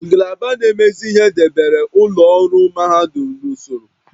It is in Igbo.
Ngalaba na-emezi ihe debere ụlọ ọrụ mahadum n'usoro